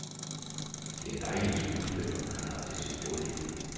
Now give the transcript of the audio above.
Det er dejlige skuespillere, han har til sin rådighed.